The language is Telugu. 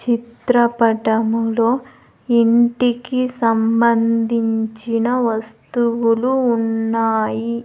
చిత్రపటములో ఇంటికి సంబంధించిన వస్తువులు ఉన్నాయి.